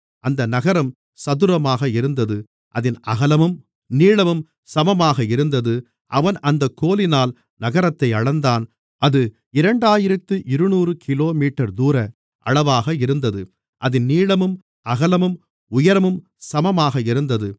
அந்த நகரம் சதுரமாக இருந்தது அதின் அகலமும் நீளமும் சமமாக இருந்தது அவன் அந்தக் கோலினால் நகரத்தை அளந்தான் அது இரண்டாயிரத்து இருநூறு கிலோமீட்டர் தூர அளவாக இருந்தது அதின் நீளமும் அகலமும் உயரமும் சமமாக இருந்தது